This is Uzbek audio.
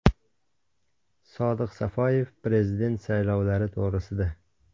Sodiq Safoyev prezident saylovlari to‘g‘risida.